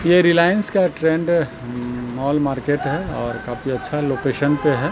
ये रिलायंस का trend mall market है और काफी अच्छा लोकेशन पे है।